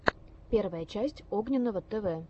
первая часть огненного тв